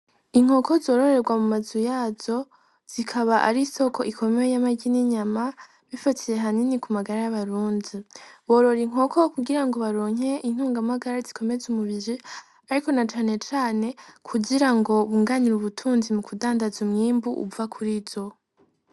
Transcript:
Inkoko zororerwa mu mazu yazo zikaba ari soko ikomeye y'amaryi n'inyama bifatiye hanini ku magara y'abarunzi borora inkoko wo kugira ngo baronke intungamagara zikomeze umubiri, ariko na canecane kugira ngo bunganira ubutunzi mu kudandaza umwimbu uva kuri zo.